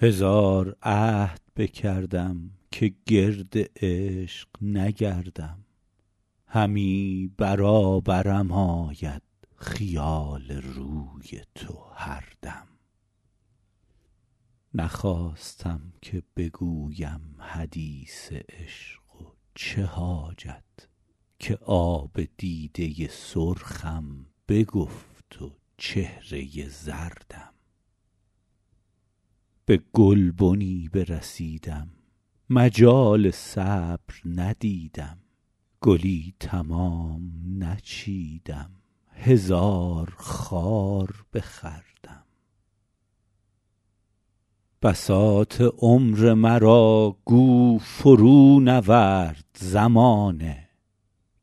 هزار عهد بکردم که گرد عشق نگردم همی برابرم آید خیال روی تو هر دم نخواستم که بگویم حدیث عشق و چه حاجت که آب دیده سرخم بگفت و چهره زردم به گلبنی برسیدم مجال صبر ندیدم گلی تمام نچیدم هزار خار بخوردم بساط عمر مرا گو فرونورد زمانه